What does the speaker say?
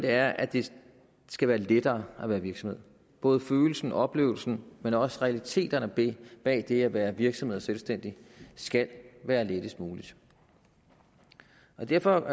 er at det skal være lettere at være virksomhed både følelsen og oplevelsen men også realiteterne bag det at være virksomhed og selvstændig skal være lettest muligt derfor